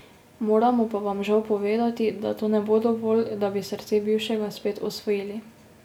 Moramo pa vam žal povedati, da to ne bo dovolj, da bi srce bivšega spet osvojili.